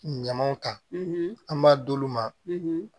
Ɲamanw ta an b'a d'olu ma